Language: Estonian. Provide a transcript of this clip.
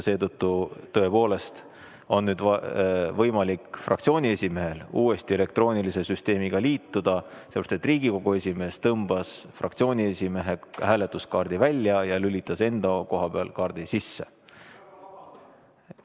Nüüd on võimalik fraktsiooni esimehel uuesti elektroonilise süsteemiga liituda, sellepärast et Riigikogu esimees tõmbas fraktsiooni esimehe hääletuskaardi välja ja lülitas enda koha peal kaardi sisse.